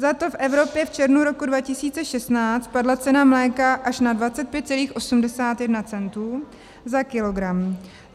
Zato v Evropě v červnu roku 2016 spadla cena mléka až na 25,81 centu za kilogram.